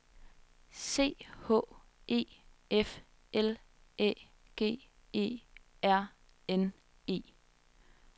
C H E F L Æ G E R N E